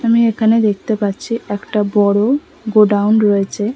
আমি এখানে দেখতে পাচ্ছি একটা বড়ো গোডাউন রয়েছে।